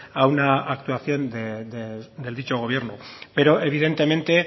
a una actuación de dicho gobierno pero evidentemente